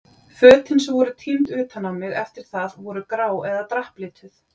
Fötin sem voru tínd utan á mig eftir það voru grá eða drapplituð.